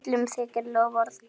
Hún löðrar.